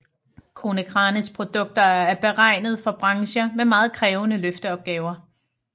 Konecranes produkter er beregnet for brancher med meget krævende løfteopgaver